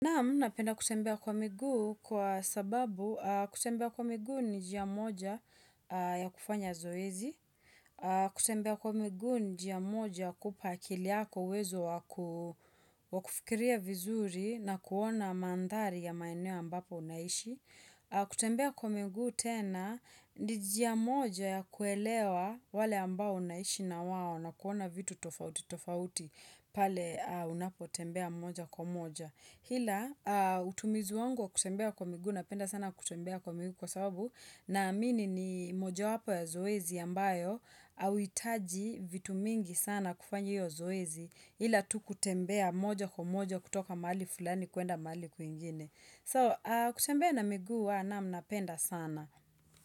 Nam napenda kutembea kwa miguu kwa sababu kutembea kwa miguu ni njia moja ya kufanya zoezi, kutembea kwa miguu ni njia moja kupa akili yako uwezo wa kufikiria vizuri na kuona mandhari ya maeneo ambapo unaishi, kutembea kwa miguu tena ni njia moja ya kuelewa wale ambao unaishi na wao na kuona vitu tofauti tofauti pale unapotembea moja kwa moja. Ila utumizu wangu wa kutembea kwa miguu napenda sana kutembea kwa miguu kwa sababu naamini ni mojawapo ya zoezi ambayo hauhitaji vitu mingi sana kufanya iyo zoezi hila tu kutembea moja kwa moja kutoka mahali fulani kuenda mahali kwingine. So kutembea na miguu wa nam napenda sana.